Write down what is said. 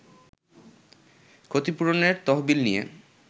ক্ষতিপূরণের তহবিল নিয়ে